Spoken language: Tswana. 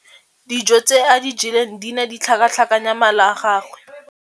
Dijô tse a di jeleng di ne di tlhakatlhakanya mala a gagwe.